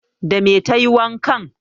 Dame tayi wankan?